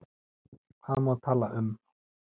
Hvað má tala um?